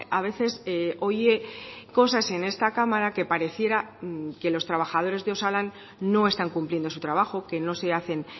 a veces oye cosas en esta cámara que pareciera que los trabajadores de osalan no están cumpliendo su trabajo que no se hacen